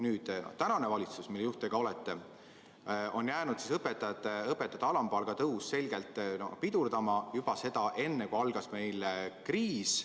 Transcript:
Nüüd, tänane valitsus, mille juht te samuti olete, on jäänud õpetajate alampalga tõusu selgelt pidurdama – seda juba enne, kui meil algas kriis.